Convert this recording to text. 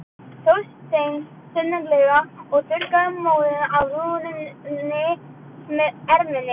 Þorsteinn þunglega og þurrkaði móðuna af rúðunni með erminni.